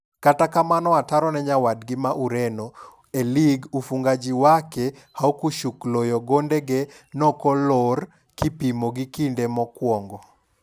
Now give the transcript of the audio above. Kata kamano, ataro ne nyawadgi ma Ureno, e lig ufungaji wake haukushukloyo gonde ge noko lor kipimo gi kinde mokwongo.